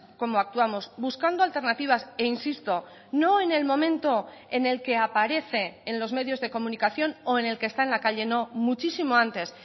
como actuamos buscando alternativas e insisto no en el momento en el que aparece en los medios de comunicación o en el que está en la calle no muchísimo antes